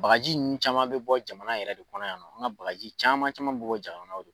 Bagaji ninnu caman bɛ bɔ jamana yɛrɛ de kɔnɔ yan nɔ, an ka bagaji caman caman bɛ bɔ jamanaw de.